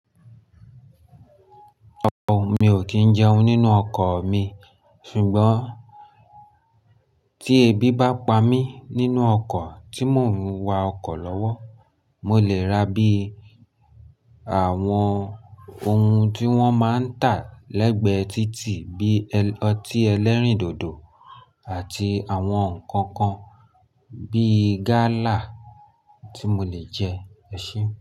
Ooo, mi ò kí ń jẹun nínú ọkọ̀ mi, ṣùgbọ́n tí ebi bá pa mí nínú ọkọ̀ tí mòún wa ọkọ̀ lọ́wọ́, mo lè ra bí àwọn ohun tí wọ́n máa ń tà lẹ́gbẹ̀ẹ́ títì bí ọtí ẹlẹ́rìndòdò àti àwọn ǹkan kan bí gálà tí mo lè jẹ, ẹ ṣé.